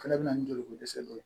Fɛnɛ bɛ na ni joliko dɛsɛ dɔ ye